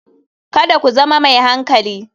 Kada ku zama mai hankali.